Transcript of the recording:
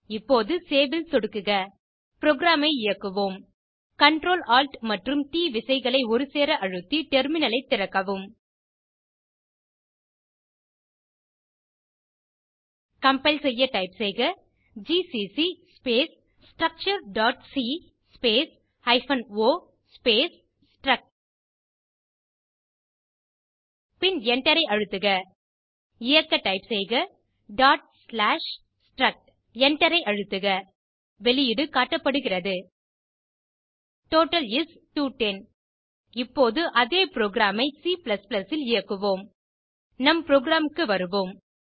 இப்போது சேவ் ல் சொடுக்குக புரோகிராம் ஐ இயக்குவோம் Ctrl Alt மற்றும் ட் விசைகளை ஒருசேர அழுத்தி டெர்மினல் ஐ திறக்கவும் கம்பைல் செய்ய டைப் செய்க ஜிசிசி ஸ்பேஸ் structureசி space hyphen o space struct பின் Enter ஐ அழுத்துக இயக்க டைப் செய்க struct Enter ஐ அழுத்துக வெளியீடு காட்டப்படுகிறது டோட்டல் இஸ் 210 இப்போது இதே புரோகிராம் ஐ C ல் இயக்குவோம் நம் புரோகிராம் க்கு வருவோம்